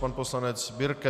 Pan poslanec Birke.